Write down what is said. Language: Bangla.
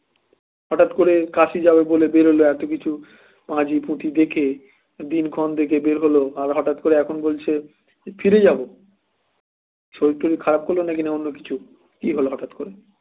হঠাৎ করে কাশি যাবে বলে বেরোলে এত কিছু পাজি পুথি দেখে দিনক্ষণ দেখে বের হলে হঠাৎ করে এখন বলছো ফিরে যাবো শরীর টোড়ির খারাপ তরি না অন্য কিছু কি হলো হঠাৎ করে